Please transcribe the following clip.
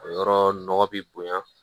O yɔrɔ nɔgɔ bi bonya